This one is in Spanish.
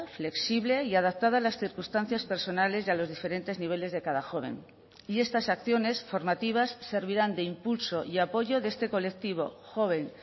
flexible y adaptada a las circunstancias personales y a los diferentes niveles de cada joven y estas acciones formativas servirán de impulso y apoyo de este colectivo joven